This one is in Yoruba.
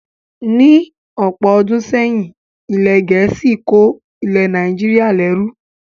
Ní ọ̀pọ̀ ọdún sẹ́yìn, ilẹ̀ Gẹ̀ẹ́sì ko ilẹ̀ Nàìjíríà lẹru